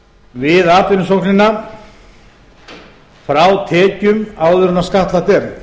við atvinnusóknina frá tekjum áður en skattlagt er